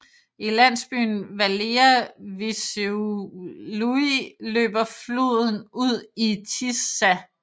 I landsbyen Valea Vișeului løber floden ud i Tisza